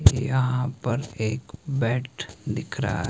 यहां पर एक बेड दिख रहा है।